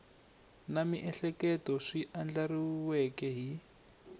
na miehleketo swi andlariweke hi